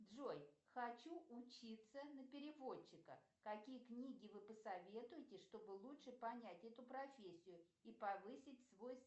джой хочу учиться на переводчика какие книги вы посоветуете чтобы лучше понять эту профессию и повысить свой